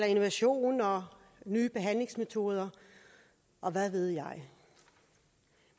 innovation og nye behandlingsmetoder og hvad ved jeg